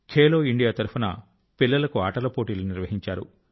Khelo India తరఫున పిల్లల కు ఆటల పోటీలు నిర్వహించారు